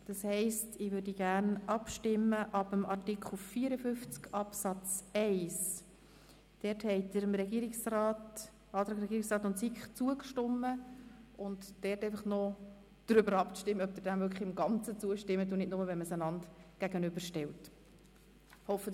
Ich möchte nun mit dem Artikel 54 Absatz 1 beginnen und erfahren, ob Sie diesem als Ganzes zustimmen, oder ob Sie ihn nur in der Gegenüberstellung vorziehen.